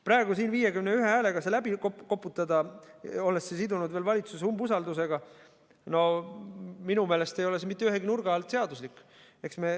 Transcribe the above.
Praegu siin 51 häälega see läbi koputada, olles selle sidunud veel valitsuse umbusaldusega – minu meelest ei ole see mitte ühegi nurga alt seaduslik.